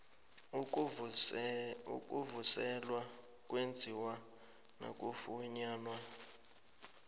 ukuvuselelwa kwenziwa nakufunyanwa